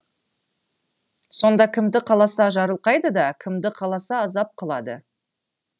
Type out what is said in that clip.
сонда кімді қаласа жарылқайды да кімді қаласа азап қылады